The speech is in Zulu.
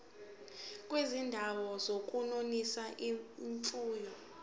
kwizindawo zokunonisela imfuyo